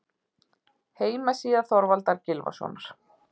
Heimasíða Þorvaldar Gylfasonar.